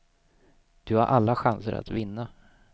Du har alla chanser att vinna.